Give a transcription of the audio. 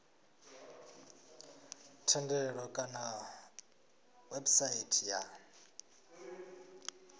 thendelo kana kha website ya